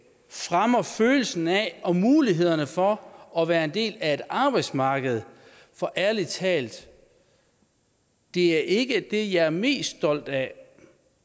fremmer følelsen af og mulighederne for at være en del af et arbejdsmarked for ærlig talt det er ikke det jeg er mest stolt af